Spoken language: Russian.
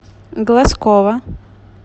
глазкова